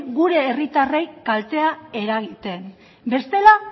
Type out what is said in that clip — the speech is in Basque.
gure herritarrei kaltea eragitea bestela